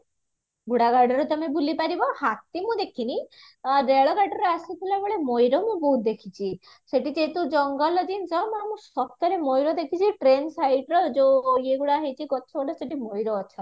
ଘୁଡା ଗାଡିରେ ତମେ ବୁଲି ପାରିବ ହାତୀ ମୁଁ ଦେଖିନି ରେଳ ଗାଡିରେ ଆସୁଥିଲାବେଳେ ମୟୂର ମୁଁ ବହୁତ ଦେଖିଚି ସେଠି ଯେହେତୁ ଜଙ୍ଗଲ ଜିନିଷ ମୁଁ ଆମ ସତରେ ମୟୁର ଦେଖିଛି train siterର ଯୋଉ ଇଏ ଗୁଡା ହେଇଚି ଗଛଗୁଡା ସେଠି ମୟୂର ଅଛନ୍ତି